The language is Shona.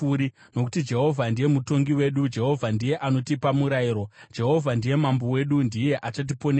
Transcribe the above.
Nokuti Jehovha ndiye mutongi wedu, Jehovha ndiye anotipa murayiro, Jehovha ndiye mambo wedu; ndiye achatiponesa.